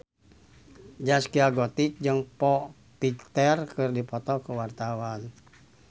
Zaskia Gotik jeung Foo Fighter keur dipoto ku wartawan